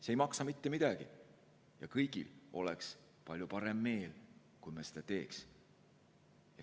See ei maksa mitte midagi ja kõigil oleks palju parem meel, kui me seda teeks.